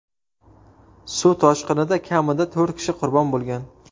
Suv toshqinida kamida to‘rt kishi qurbon bo‘lgan.